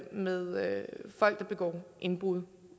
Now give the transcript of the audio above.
med folk der begår indbrud